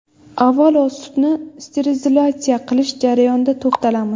Avvalo, sutni sterilizatsiya qilish jarayoniga to‘xtalamiz.